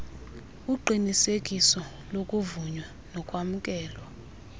uqinisekiso lokuvunywa nokwamkelwa